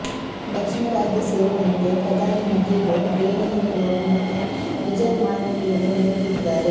ದಕ್ಷಿಣ ರಾಜ್ಯ ಸೇರಿದಂತೆ ಪ್ರಧಾನಿ ನಿಧಿಗೂ ದೇಣಿಗೆ ನೀಡುವ ಮೂಲಕ ವಿಜಯ್ ಮಾನವೀಯತೆ ಮೆರೆದಿದ್ದಾರೆ